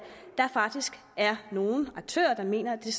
der faktisk er nogle aktører der mener at det